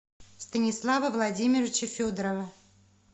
станислава владимировича федорова